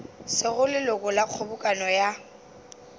sego leloko la kgobokano ya